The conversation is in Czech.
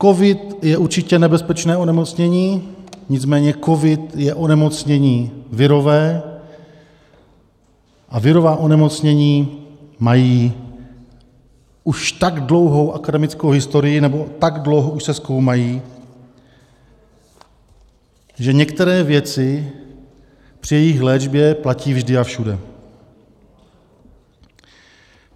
Covid je určitě nebezpečné onemocnění, nicméně covid je onemocnění virové a virová onemocnění mají už tak dlouhou akademickou historii, nebo tak dlouho už se zkoumají, že některé věci při jejich léčbě platí vždy a všude.